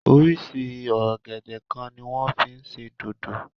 Oríṣi ọ̀gẹ̀dẹ̀ kan ni wọ́n fí ń ṣe dòdò.